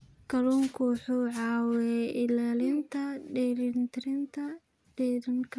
Kalluunku wuxuu caawiyaa ilaalinta dheelitirnaanta deegaanka.